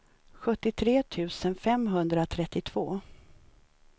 sjuttiotre tusen femhundratrettiotvå